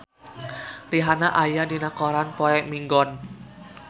Rihanna aya dina koran poe Minggon